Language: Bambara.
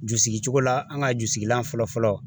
Ju sigi cogo la an ka jusigilan fɔlɔ fɔlɔ